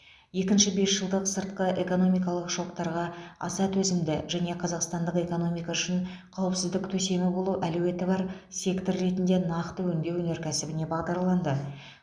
екінші бес жылдық сыртқы экономикалық шоктарға аса төзімді және қазақстандық экономика үшін қауіпсіздік төсемі болу әлеуеті бар сектор ретінде нақты өңдеу өнеркәсібіне бағдарланды